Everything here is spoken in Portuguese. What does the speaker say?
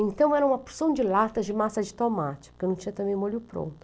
Então, era uma porção de lata de massa de tomate, porque não tinha também molho pronto.